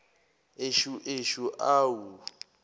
eshu eshu awu